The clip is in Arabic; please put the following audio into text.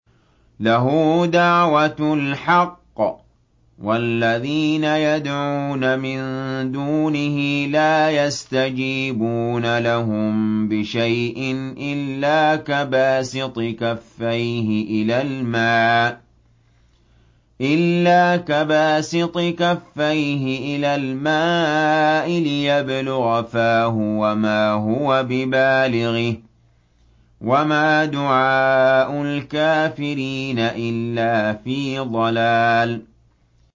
لَهُ دَعْوَةُ الْحَقِّ ۖ وَالَّذِينَ يَدْعُونَ مِن دُونِهِ لَا يَسْتَجِيبُونَ لَهُم بِشَيْءٍ إِلَّا كَبَاسِطِ كَفَّيْهِ إِلَى الْمَاءِ لِيَبْلُغَ فَاهُ وَمَا هُوَ بِبَالِغِهِ ۚ وَمَا دُعَاءُ الْكَافِرِينَ إِلَّا فِي ضَلَالٍ